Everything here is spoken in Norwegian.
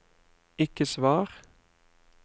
ikke svar